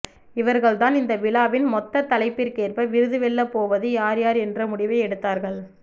இவர்கள் தான் இந்த விழாவின் மொத்த தலைப்பிற்கேற்ப விருது வெல்ல போவது யார் யார் என்ற முடிவை எடுத்தார்கள்